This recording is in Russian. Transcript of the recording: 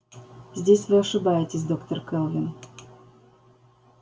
здесь вы ошибаетесь доктор кэлвин